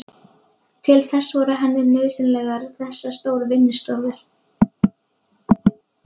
Að ógleymdum öskrandi brimgný á ströndinni við hið ysta haf.